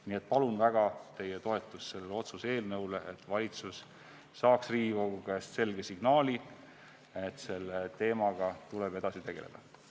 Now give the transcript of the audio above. Nii et palun väga teie toetust sellele otsuse eelnõule, et valitsus saaks Riigikogu käest selge signaali, et selle teemaga tuleb edasi tegelda.